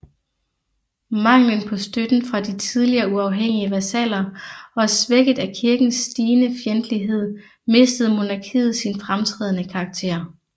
Manglen på støtten fra de tidligere uafhængige vasaller og svækket af Kirkens stigende fjendtlighed mistede monarkiet sin fremtrædende karakter